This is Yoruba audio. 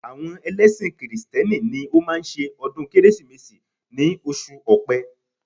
Àwọn ẹlẹ́ṣin kìrìsìtẹ́nì ni ó máa ń ṣe ọdún Kérésìmesì ní oṣù ọ̀pẹ